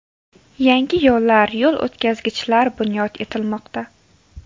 Yangi yo‘llar, yo‘l o‘tkazgichlar bunyod etilmoqda.